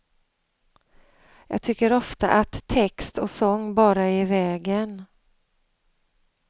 Jag tycker ofta att text och sång bara är i vägen.